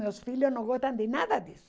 Meus filhos não gostam de nada disso.